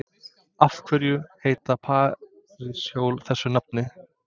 Af hverju heita parísarhjól þessu nafni?